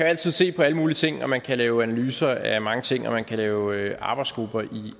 altid se på alle mulige ting man kan lave analyser af mange ting og man kan lave arbejdsgrupper i